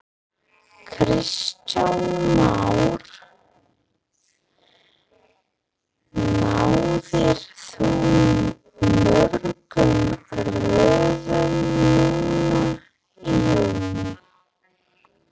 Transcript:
Kristján Már: Náðir þú mörgum róðrum núna í júlí?